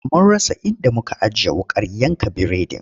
Mun rasa inda muka ajiye wuƙar yanka biredin.